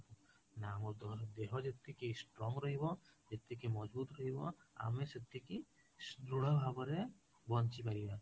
ନା ଆମ ଦେହ ଯେତିକି strong ରହିବ, ଯେତିକି ରହିବ ଆମେ ସେତିକି ଦୃଢ଼ ଭାବରେ ବଞ୍ଚି ପାରିବା